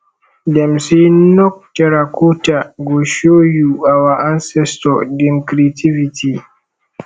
dem sey nok terracotta go show you our ancestor dem creativity